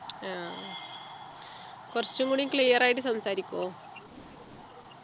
ആഹ് കുറച്ചും കൂടി clear ആയിട്ട് സംസാരിക്കോ